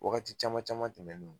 Wagati caman caman tɛmɛnen